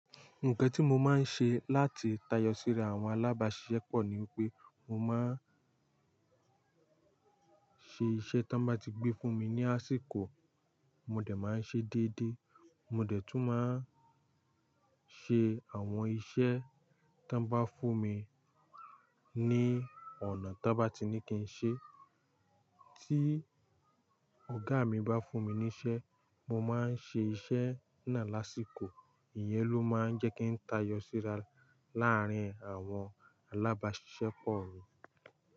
Nǹkan tí mo máa ń ṣe láti tayọ síra àwọn alábàáṣiṣẹ́ pọ̀ ní wípé mo máa ń ṣe iṣẹ́ tí wọ́n bá ti gbé fún mi ní àsìkò, mo dẹ̀ máa ń ṣe déédé, mo dẹ̀ tún máa ń ṣe àwọn iṣẹ́ tí wọ́n bá fún mi ní ọ̀nà tí wọ́n bá ti ní kí n ṣe. Tí ọ̀gá mi bá fún mi níṣẹ́, mo máa ń ṣe iṣẹ́ náà lásìkò, ìyẹ́n ló máa ń jẹ́ kí n tayọ síra láàárín àwọn alábáàṣìṣẹ́ pọ̀ mí.